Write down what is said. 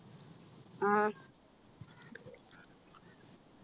ആഹ്